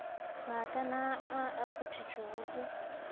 maakana a a kgothotšwego ke